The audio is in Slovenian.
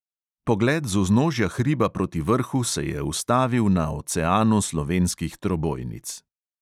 Pogled z vznožja hriba proti vrhu se je ustavil na oceanu slovenskih trobojnic.